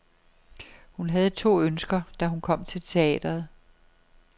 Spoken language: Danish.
Hun havde to ønsker, da hun kom til teatret.